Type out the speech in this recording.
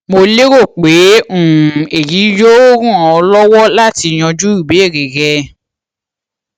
mo lérò pé um èyí yóò ràn ọ lọwọ láti yanjú ìbéèrè rẹ